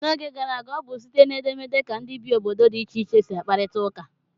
N'oge gara aga, ọ bụ site na edemede ka ndị bi obodo dị iche iche si akparita ụka.